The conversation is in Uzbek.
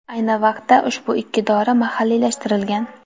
Ayni vaqtda ushbu ikki dori mahalliylashtirilgan.